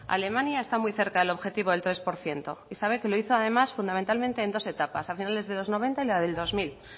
alemania está muy cerca del objetivo del tres por ciento y sabe que lo hizo además fundamentalmente en dos etapas a finales de los noventa y la del dos mil